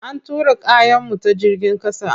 An tura kayanmu ta jigin ƙasa.